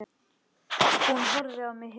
Hann horfði á mig hissa.